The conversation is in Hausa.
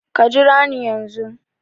Ka jira ni yanzun